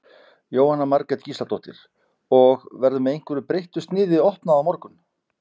Jóhanna Margrét Gísladóttir: Og, verður með einhverju breyttu sniði opnað á morgun?